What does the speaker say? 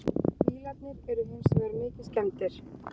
Bílarnir eru hins vegar mikið skemmdir